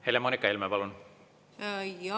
Helle-Moonika Helme, palun!